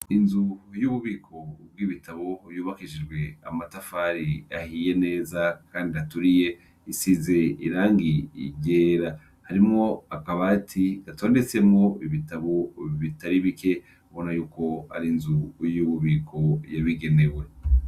Inzu yububiko bw’ibitabo yubakishijwe amatafari ahiye neza kandi aturiye isize irangi ryera. Harimwo akabati gatondetsemwo ibitabo bitari bike ubona yuko ar’inzu y’ububiko yabigenewe.